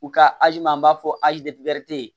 U ka azi ma n'a fɔ azi de tɛ ye